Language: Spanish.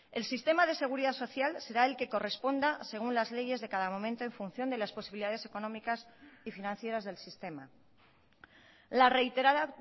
el sistema de seguridad social será el que corresponda según las leyes de cada momento en función de las posibilidades económicas y financieras del sistema la reiterada